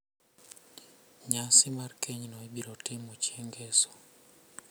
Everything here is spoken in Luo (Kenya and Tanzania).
Nyasi mar kenyno ibiro timo chieng ngeso.